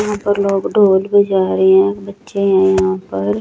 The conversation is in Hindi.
यहां पर लोग दौड़ के जा रहे हैं बच्चे हैं यहां पर--